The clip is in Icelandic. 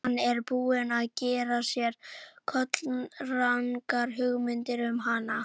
Hann er búinn að gera sér kolrangar hugmyndir um hana.